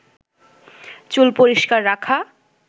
চুল পরিস্কার রাখা